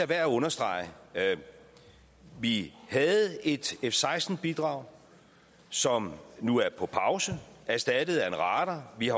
værd at understrege vi havde et f seksten bidrag som nu er på pause og erstattet af en radar vi